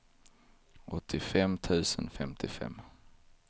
åttiofem tusen femtiofem